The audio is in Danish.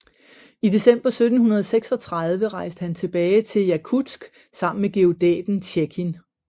I december 1736 rejste han tilbage til Jakutsk sammen med geodæten Tjekin